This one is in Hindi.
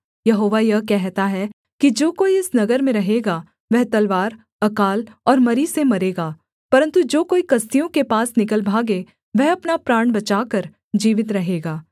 यहोवा यह कहता है कि जो कोई इस नगर में रहेगा वह तलवार अकाल और मरी से मरेगा परन्तु जो कोई कसदियों के पास निकल भागे वह अपना प्राण बचाकर जीवित रहेगा